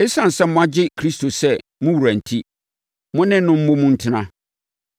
Esiane sɛ moagye Kristo sɛ mo wura enti, mo ne no mmom ntena.